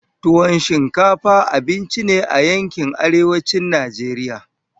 Tuwon shinkafa abinci ne a yankin arewacin Najeriya.